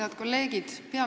Head kolleegid!